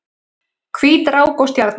Hvít rák og stjarna